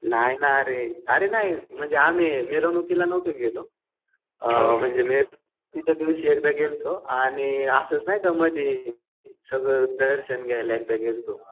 नाही ना अरे. अरे नाही म्हणजे आम्ही मिरवणुकीला नव्हतो गेलो. म्हणजे मिरवणुकीच्या दिवशी एकदा गेलतो आणि असंच नाही मध्ये सगळं दर्शन घ्यायला एकदा गेलतो.